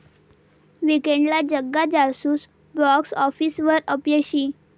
वीकेण्डला 'Jagga Jasoos' box आॅफिसवर अपयशी